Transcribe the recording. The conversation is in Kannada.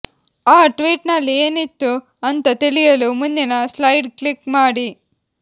ಆ ಟ್ವೀಟ್ ನಲ್ಲಿ ಏನಿತ್ತು ಅಂತ ತಿಳಿಯಲು ಮುಂದಿನ ಸ್ಲೈಡ್ ಕ್ಲಿಕ್ ಮಾಡಿ